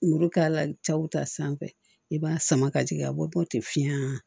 Muru k'a la cɛw ta sanfɛ i b'a sama ka jigin a bɔ ten fiɲɛ na